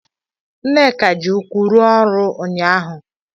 Nneka ji ụkwụ rụọ ọrụ ụnyahụ.